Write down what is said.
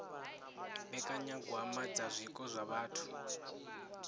mbekanyagwama dza zwiko zwa vhathu